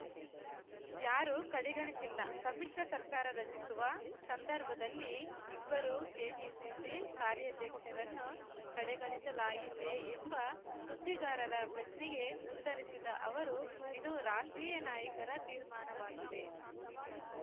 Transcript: ಯಾರೂ ಕಡೆಗಣಿಸಿಲ್ಲ ಸಮ್ಮಿಶ್ರ ಸರ್ಕಾರ ರಚಿಸುವ ಸಂದರ್ಭದಲ್ಲಿ ಇಬ್ಬರೂ ಕೆಪಿಸಿಸಿ ಕಾರ್ಯಾಧ್ಯಕ್ಷರನ್ನು ಕಡೆಗಣಿಸಲಾಯಿತೇ ಎಂಬ ಸುದ್ದಿಗಾರರ ಪ್ರಶ್ನೆಗೆ ಉತ್ತರಿಸಿದ ಅವರು ಇದು ರಾಷ್ಟ್ರೀಯ ನಾಯಕರ ತೀರ್ಮಾನವಾಗಿದೆ